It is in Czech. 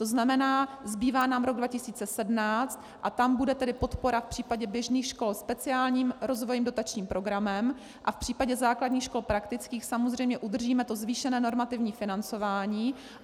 To znamená, zbývá nám rok 2017 a tam bude tedy podpora v případě běžných škol speciálním rozvojovým dotačním programem a v případě základních škol praktických samozřejmě udržíme to zvýšené normativní financování.